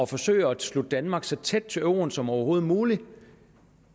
forsøger at slutte danmark så tæt til euroen som overhovedet muligt